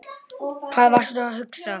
Hvað varstu að hugsa?